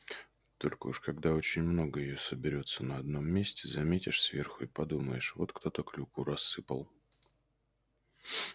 только уж когда очень много её соберётся на одном месте заметишь сверху и подумаешь вот кто-то клюкву рассыпал